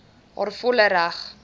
haar volle reg